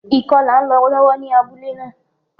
Ìkọlà n lo lọ́wọ́ ní abúlé náà